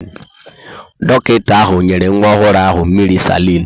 Dọkịta ahụ nyere nwa ọhụrụ ahụ mmiri salin.